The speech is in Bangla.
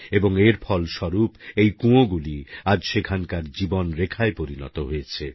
এবং এর ফলস্বরূপ এই কূঁয়োগুলি আজ সেখানকার জীবন রেখায় পরিণত হয়েছে